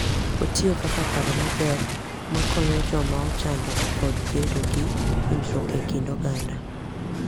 Otiyo kaka paro maber mar konyo joma ochando kod bedo gi winjruok e kind oganda.